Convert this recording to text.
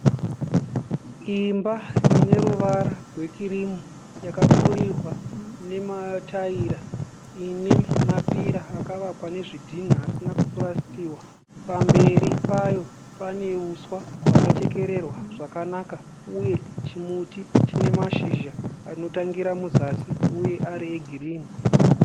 Imba ine ruvara rwekirimu yakapfurirwa nemataira ine mapira akavakwa nezvidhinha asina kupurasitiwa. Pamberi payo pane uswa hwakachekererwa zvakanaka uye chimuti chine mashizha anotangira muzasi uye ari egirini.